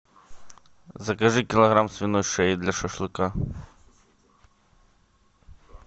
закажи килограмм свиной шеи для шашлыка